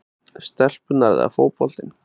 stelpurnar eða fótboltinn?